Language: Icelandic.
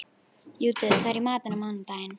Judith, hvað er í matinn á mánudaginn?